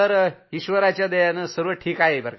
ईश्वराच्या दयेनं सर्व ठीक आहेसर